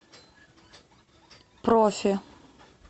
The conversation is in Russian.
профи